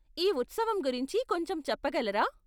ఈ ఉత్సవం గురించి కొంచెం చెప్పగలరా?